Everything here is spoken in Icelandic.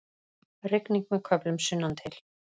Rigning með köflum sunnantil